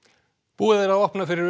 búið er að opna fyrir